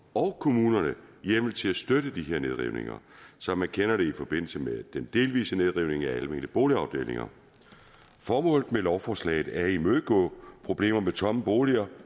og kommunerne hjemmel til at støtte de her nedrivninger som man kender det i forbindelse med den delvise nedrivning af almene boligafdelinger formålet med lovforslaget er at imødegå problemer med tomme boliger